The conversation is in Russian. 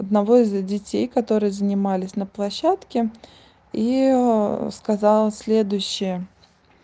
одного из детей которые занимались на площадке и сказала следующее